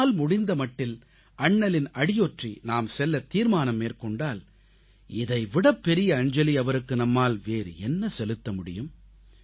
நம்மால் முடிந்த மட்டில் அண்ணலின் அடியொற்றி நாம் செல்லத் தீர்மானம் மேற்கொண்டால் இதைவிடப் பெரிய அஞ்சலி அவருக்கு நம்மால் வேறு என்ன செலுத்த முடியும்